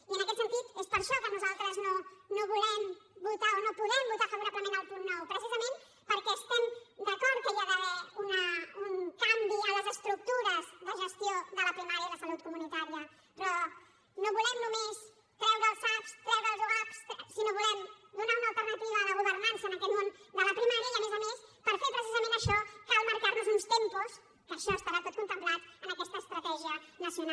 i en aquest sentit és per això que nosaltres no volem votar o no podem votar favorablement el punt nou precisament perquè estem d’acord que hi ha d’haver un canvi a les estructures de gestió de la primària i la salut comunitària però no volem només treure els sap treure els ugap sinó que volem donar una alternativa a la governança en aquest món de la primària i a més a més per fer precisament això cal marcar nos uns tempos que això estarà tot contemplat en aquesta estratègia nacional